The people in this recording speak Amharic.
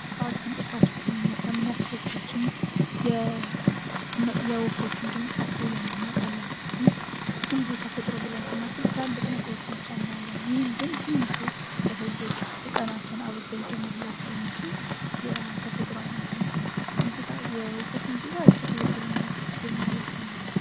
ጧት ከእንቅልፋችን ስንነሳ ምን ያክሎቻችን የወፎችን ድምጽ አስተውለንው እናውቃለን? ይህ ብዙ ጊዜ ተፈጥሮ ብለን ስናስብ ትልልቅ ነገሮችን ብቻ እናያለን። ይህ ግን ትንሹ ለሰው ልጆች ቀናትን አብርቶ ሊጀምርላቸው የማችል የተፈጥሮ አይነት ነው። የወፎች ሙዚቃ እጅግ ልብን የሚመስጥ ዜማ ያላቸው ናቸው።